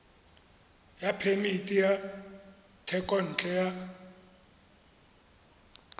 ya phemiti ya thekontle ya